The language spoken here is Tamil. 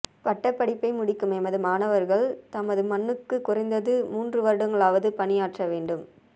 பட்டப்படிப்பை முடிக்கும் எமது மாணவர்கள் தமது மண்ணுக்கு குறைந்தது மூன்று வருடங்களாவது பணியாற்ற வேண்டும்